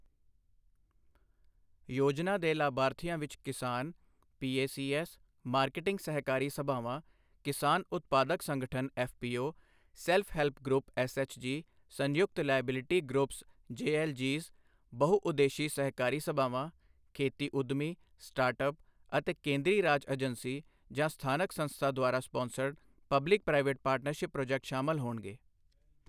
ਯੋਜਨਾ ਦੇ ਲਾਭਾਰਥੀਆਂ ਵਿੱਚ ਕਿਸਾਨ, ਪੀਏਸੀਐੱਸ, ਮਾਰਕਿਟਿੰਗ ਸਹਿਕਾਰੀ ਸਭਾਵਾਂ, ਕਿਸਾਨ ਉਤਪਾਦਕ ਸੰਗਠਨ FPO, self help group SHG, ਸੰਯੁਕਤ ਲਾਇਬਿਲਿਟੀ ਗਰੁੱਪਸ ਜੇਐੱਲਜੀਜ਼, ਬਹੁ ਉਦੇਸ਼ੀ ਸਹਿਕਾਰੀ ਸਭਾਵਾਂ, ਖੇਤੀ ਉੱਦਮੀ, ਸਟਾਰਟ ਅੱਪਸ ਅਤੇ ਕੇਂਦਰੀ ਰਾਜ ਏਜੰਸੀ ਜਾਂ ਸਥਾਨਕ ਸੰਸਥਾ ਦੁਆਰਾ sponsored public private partnership project ਸ਼ਾਮਲ ਹੋਣਗੇ।